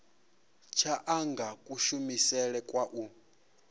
tsha anga kushumele kwa u